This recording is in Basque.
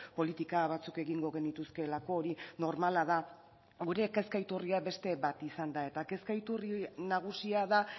politika batzuk egingo genituzkeelako hori normala da gure kezka iturria beste bat izan da eta kezka iturri nagusia da